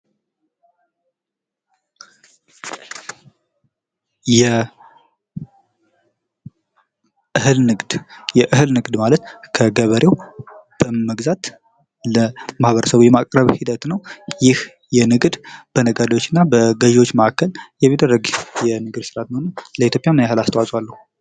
የእህል ንግድ ፦ የእህል ንግድ ማለት ከገበሬው በመግዛት ለማህበረሰቡ የማቅረብ ሂደት ነው ።ይህ ንግድ በነጋዴዎችና በገዢዎች መካከል የሚደረግ የንግድ ስርዓት ነው ። ለኢትዮጵያ ምን ያክል አስተዋጽኦ አለው ?